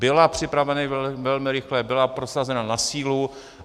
Byla připravena velmi rychle, byla prosazena na sílu.